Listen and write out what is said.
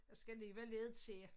Der skal alligevel lidt til